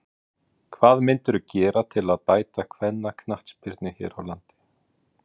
Hvað mundirðu gera til að bæta kvennaknattspyrnu hér á landi?